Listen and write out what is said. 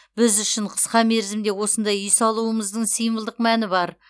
біз үшін қысқа мерзімде осындай үй салумыздың символдық мәні бар